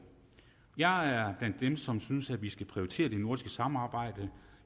jeg er blandt dem som synes at vi skal prioritere det nordiske samarbejde